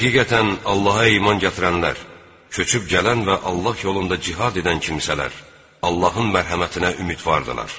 Həqiqətən, Allaha iman gətirənlər, köçüb gələn və Allah yolunda cihad edən kimsələr, Allahın mərhəmətinə ümidvardırlar.